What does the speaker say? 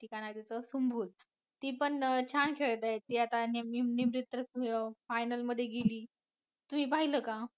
ती काय नाव तिचं सुमभुल ती पण छान खेळते ती आता निमरीत तर final मध्ये गेली. तुम्ही पाहिलं का?